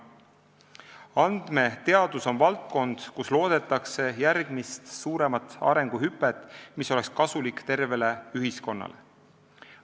Andmeteadus on valdkond, kus loodetakse järgmist suuremat arenguhüpet, mis oleks kasulik tervele ühiskonnale.